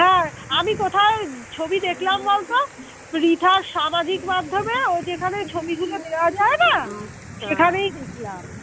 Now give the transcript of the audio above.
আমি কোথায় ছবি দেখলাম বলতো রিতার সামাজিক মাধ্যমে ও যেখানে ছবিগুলো দেওয়া যায় না সেখানেই দেখলাম।